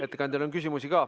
Ettekandjale on ka küsimusi.